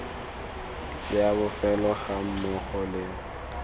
le a bofelo gammogo le